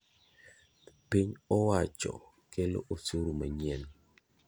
Piny owacho kelo osuru manyien,